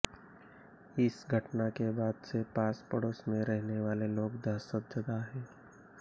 इस घटना के बाद से पास पड़ोस में रहने वाले लोग दहशतजदा हैं